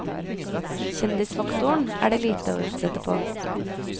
Kjendisfaktoren er det lite å utsette på.